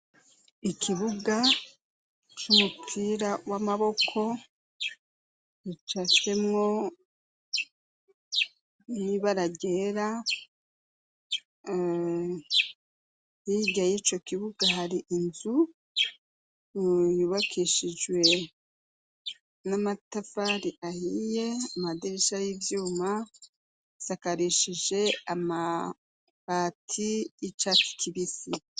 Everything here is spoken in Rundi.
Ikibuga c'umupira w'amaboko ricasemwo inibara ryera yiryayico kibuga hari inzu yubakishijwe n'amaa atafari ahiye amadirisha y'ivyuma sakarishije amabati y'icakikibisi.